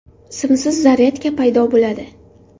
Simsiz zaryadka paydo bo‘ladi.